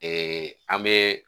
an bɛ